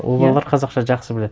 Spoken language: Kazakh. ол балалар қазақша жақсы біледі